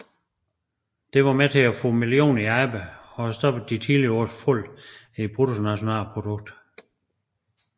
Dette var med til at få millioner i arbejde og stoppe de tidligere års fald i bruttonationalproduktet